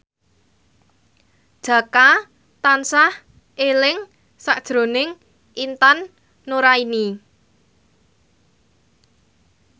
Jaka tansah eling sakjroning Intan Nuraini